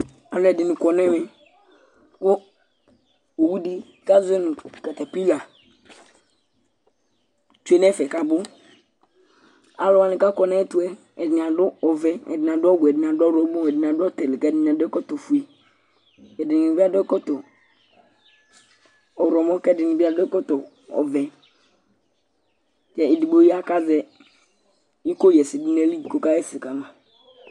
Alʋɛdìní kɔ nʋ ɛmɛ kʋ owu di azuɛ nʋ katapila tsʋe nʋ ɛfɛ kʋ abʋ Alʋwani kʋ akɔ nʋ ayɛtʋ yɛ ɛdiní adu ɔvɛ, ɛdiní ɔwɛ, ɛdiní adʋ ɔwlɔmɔ, ɛdiní adu ɔtili kʋ ɛdiní adu ɛkɔtɔ fʋe Ɛdiní bi adu ɛkɔtɔ ɔwlɔmɔ kʋ ɛdíni bi adu ɔvɛ kʋ ɛdigbo ya kʋ azɛ iko ɣɛsɛ du nʋ ayìlí kʋ ɔka ɣɛsɛ kama